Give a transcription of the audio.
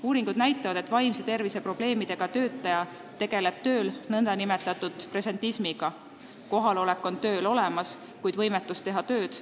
Uuringud näitavad, et vaimse tervise probleemidega töötaja tegeleb tööl nn presentismiga: ta on kohal, kuid võimetu tööd tegema.